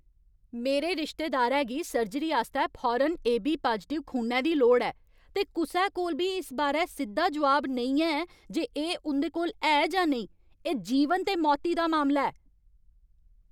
मेरे रिश्तेदारै गी सर्जरी आस्तै फौरन एबी पाजटिव खूनै दी लोड़ ऐ, ते कुसै कोल बी इस बारै सिद्धा जोआब नेईं है जे एह् उं'दे कोल है जां नेईं। एह् जीवन ते मौती दा मामला ऐ!